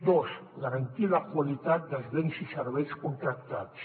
dos garantir la qualitat dels béns i serveis contractats